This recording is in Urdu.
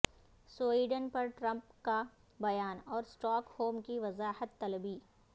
سوئیڈن پرٹرمپ کا بیان اور اسٹاک ہوم کی وضاحت طلبی